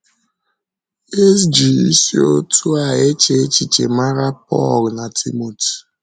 E ji isi otú a eche echiche mara Pọl na Timoti.